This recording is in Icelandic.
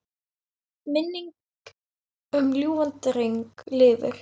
Minning um ljúfan dreng lifir.